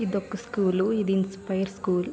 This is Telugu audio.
ఇది ఒక స్కూల్ ఇది ఇన్స్పిరె స్కూల్ .